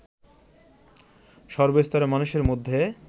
সর্বস্তরের মানুষের মধ্যে